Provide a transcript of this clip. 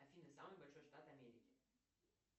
афина самый большой штат америки